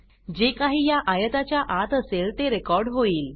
जे काही या आयताच्या आत असेल ते रेकॉर्ड होईल